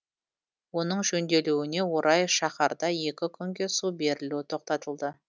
оның жөнделуіне орай шаһарда екі күнге су берілу тоқтатылды